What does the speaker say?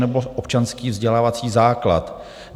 nebo občanský vzdělávací základ".